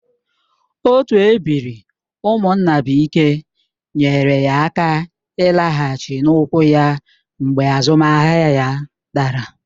Otu ebiri Umunnabuike nyeere ya aka ịlaghachi n'ụkwụ ya mgbe azụmahịa ya dara